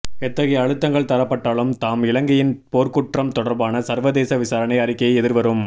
எத்தகைய அழுத்தங்கள் தரப்பட்டாலும் தாம் இலங்கையின் போர்க்குற்றம் தொடர்பான சர்வதேச விசாரணை அறிக்கையை எதிர்வரும்